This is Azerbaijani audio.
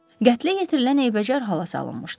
Qətlə yetirilən eybəcər hala salınmışdı.